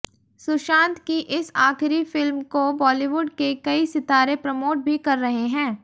सुशांत की इस आखिरी फिल्म को बॉलीवुड के कई सितारें प्रमोट भी कर रहे हैं